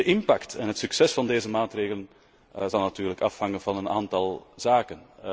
De impact en het succes van deze maatregelen zullen natuurlijk afhangen van een aantal zaken.